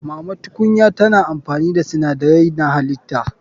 Mama tukunya tana amfani da sinadarai na halitta.